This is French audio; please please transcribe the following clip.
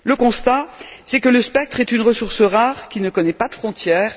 Le constat, c'est que le spectre est une ressource rare qui ne connaît pas de frontière.